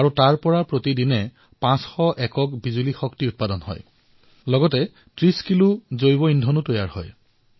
সেই স্থানটোৰ পৰা প্ৰতিদিনে ৫০০ ইউনিট বিদ্যুৎ উৎপাদন কৰা হয় আৰু প্ৰায় ৩০ কিলোৱাট জৈৱ ইন্ধনো প্ৰস্তুত কৰা হয়